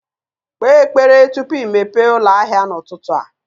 Kpee ekpere tupu i mepee ụlọ ahịa n'ụtụtụ a.